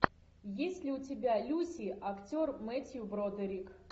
есть ли у тебя люси актер мэттью бродерик